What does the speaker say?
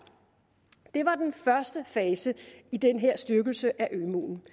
det var den første fase i den her styrkelse af ømuen